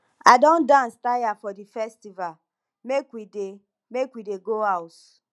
i don dance tire for dis festival make we dey make we dey go house